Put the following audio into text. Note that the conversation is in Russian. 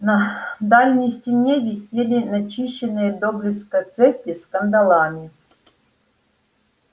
на дальней стене висели начищенные до блеска цепи с кандалами